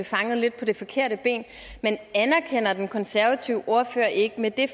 fanget lidt på det forkerte ben men anerkender den konservative ordfører ikke at med det